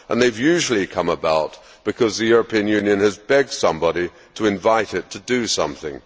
They have usually come about because the European Union has begged somebody to invite it to do something.